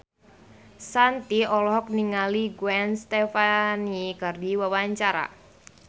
Shanti olohok ningali Gwen Stefani keur diwawancara